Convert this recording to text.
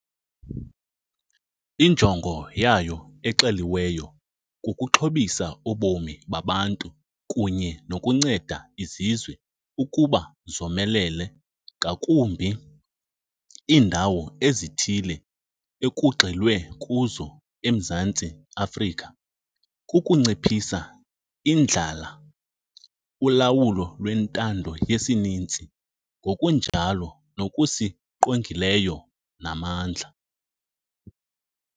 Injongo yayo exeliweyo kukuxhobisa ubomi babantu kunye nokunceda izizwe ukuba zomelele ngakumbi. Iindawo ezithile ekugxilwe kuzo eMzantsi Afrika kukunciphisa indlala, ulawulo lwentando yesininzi ngokunjalo nokusiqongileyo namandla.